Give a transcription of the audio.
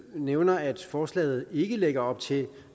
nævner at forslaget ikke lægger op til